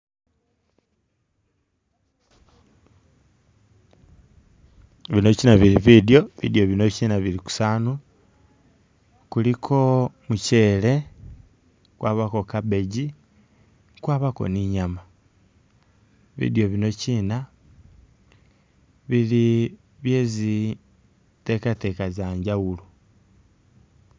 Bino chiina bili bidyo, bidyo bino bili kusawaani kuliko muchele khwabaakho cabbage kwabaako ne inyama bidyo bino chiina, bili bye zi'takataka zenjawulo.